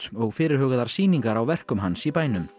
og fyrirhugaðar sýningar á verkum hans í bænum